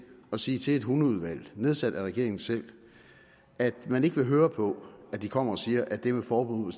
at sige til et hundeudvalg nedsat af regeringen selv at man ikke vil høre på at de kommer og siger at det med forbud mod